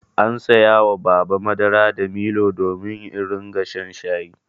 An saya wa Baba madara da milo domin in riƙa shan shayi.